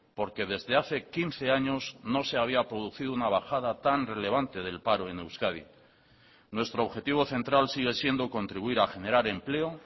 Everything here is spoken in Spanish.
porque desde hace quince años no se había producido una bajada tan relevante del paro en euskadi nuestro objetivo central sigue siendo contribuir a generar empleo